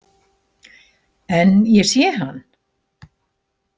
En ég sé hann.